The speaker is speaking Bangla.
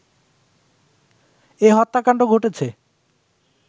এ হত্যাকাণ্ড ঘটেছে